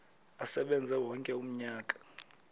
asebenze wonke umnyaka